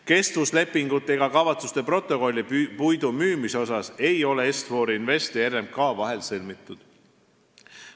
Kestvuslepingut ega kavatsuste protokolli puidu müümise kohta ei ole Est-For Investi ja RMK vahel sõlmitud.